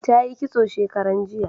Ta yi kitso shekaran jiya